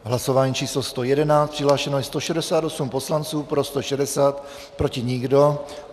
Hlasování číslo 111, přihlášeno je 168 poslanců, pro 160, proti nikdo.